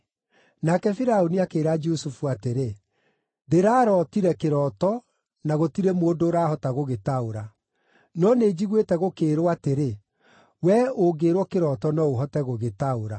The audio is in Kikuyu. Nake Firaũni akĩĩra Jusufu atĩrĩ, “Ndĩrarootire kĩroto na gũtirĩ mũndũ ũrahota gũgĩtaũra. No nĩnjiguĩte gũkĩĩrwo atĩrĩ, wee ũngĩĩrwo kĩroto no ũhote gũgĩtaũra.”